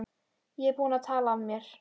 Ég er búinn að tala af mér.